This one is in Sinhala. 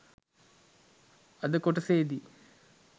අද‍ කොටසේදි